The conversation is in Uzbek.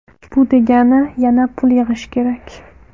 Bu degani yana pul yig‘ish kerak.